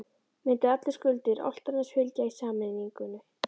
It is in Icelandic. Myndu allar skuldir Álftaness fylgja í sameiningunni?